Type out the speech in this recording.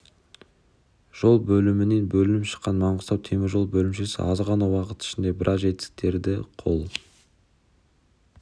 жол бөлімінен бөлініп шыққан маңғыстау темір жолы бөлімшесі аз ғана уақыт ішінде біраз жетістіктерге қол